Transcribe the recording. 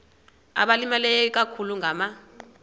abalimileyo ikakhulu ngama